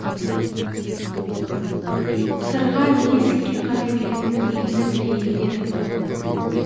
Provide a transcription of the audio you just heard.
сырға неге есікке қарай беретінін енді білейін дедім